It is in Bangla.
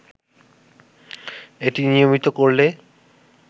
এটি নিয়মিত করলে